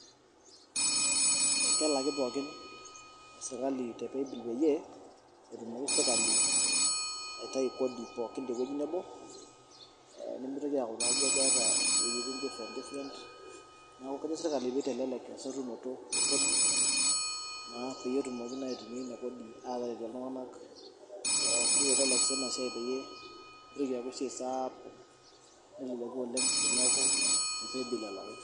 Kelaki pookin esirkali te paybill peyie etumoki sirkali aitayu kodi pookin tewueji nebo ee nemitoki aaku keeta iweujitin different different neeku kejo sirkali pee itelelek esotunoto ekodi pee etumoki naa aitumia ina kodi aalakie iltung'anak nita sii ina siai mitoki aaku esiai saapuk neleleku oleng' teneeku te paybill elaki.